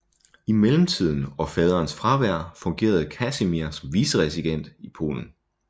I mellemtiden og faderens fravær fungerede Kasimir som viceregent i Polen